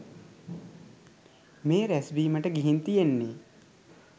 මේ රැස්වීමට ගිහින් තියෙන්නේ.